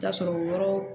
T'a sɔrɔ yɔrɔ